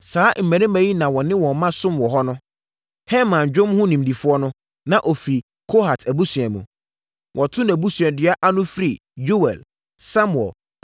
Saa mmarima yi na wɔne wɔn mma somm wɔ hɔ no. Heman, dwom ho nimdefoɔ no, na ɔfiri Kohat abusua mu. Wɔto nʼabusuadua ana firi Yoɛl, Samuel,